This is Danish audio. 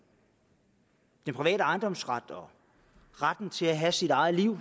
private ejendomsret og om retten til at have sit eget liv